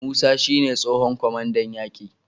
Musa shi ne tsohon kwamandan yaki